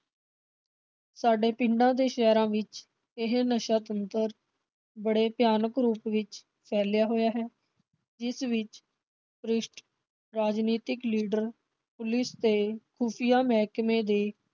ਸਾਡੇ ਪਿੰਡਾਂ ਤੇ ਸ਼ਹਿਰਾਂ ਵਿਚ ਇਹ ਨਸ਼ਾ ਬਣਤਰ ਬੜੇ ਭਿਆਨਕ ਰੂਪ ਵਿਚ ਫੈਲਿਆ ਹੋਇਆ ਹੈ। ਜਿਸ ਵਿਚ ਭ੍ਰਿਸ਼ਟ ਰਾਜਨੀਤਿਕ ਲੀਡਰ, ਪੁਲਿਸ ਤੇ ਖੂਫਿਆ ਮਹਿਕਮੇ